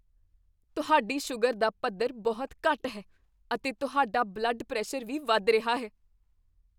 ਤੁਹਾਡੀ ਸ਼ੂਗਰ ਦਾ ਪੱਧਰ ਬਹੁਤ ਘੱਟ ਹੈ, ਅਤੇ ਤੁਹਾਡਾ ਬਲੱਡ ਪ੍ਰੈਸ਼ਰ ਵੀ ਵੱਧ ਰਿਹਾ ਹੈ।